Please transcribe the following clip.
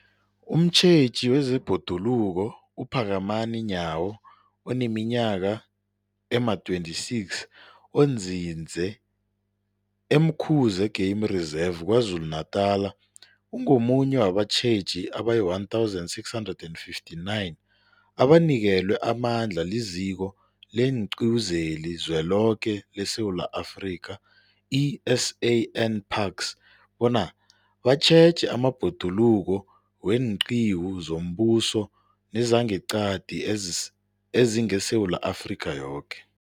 Umtjheji wezeBhoduluko uPhakamani Nyawo oneminyaka ema-26, onzinze e-Umkhuze Game Reserve KwaZulu-Natala, ungomunye wabatjheji abayi-1 659 abanikelwe amandla liZiko leenQiwu zeliZweloke leSewula Afrika, i-SANParks, bona batjheje amabhoduluko weenqiwu zombuso nezangeqadi ezingeSewula Afrika yoke.